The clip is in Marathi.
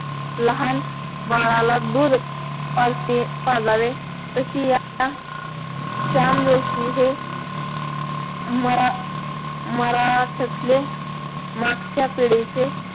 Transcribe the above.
लहान बाळाला दूध कसे पाजावे तशी या श्याम जोशी हे महा महाराष्ट्रातले मागच्या पिढीचे